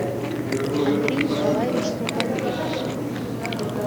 андрей николаевич султанбеков